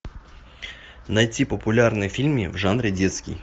найти популярные фильмы в жанре детский